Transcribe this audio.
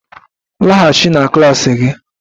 Laghachi na klas gị!